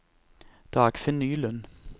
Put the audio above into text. Dagfinn Nylund